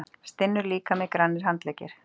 Stinnur líkami, grannir handleggir.